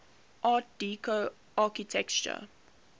art deco architecture